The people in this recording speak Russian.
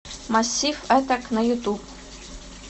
массив аттак на ютуб